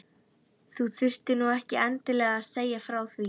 Þú þurftir nú ekki endilega að segja frá því